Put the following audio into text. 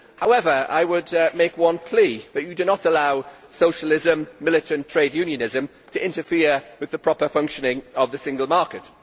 However, I would make one plea that you do not allow socialism and militant trade unionism to interfere with the proper functioning of the single market.